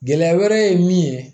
Gɛlɛya wɛrɛ ye min ye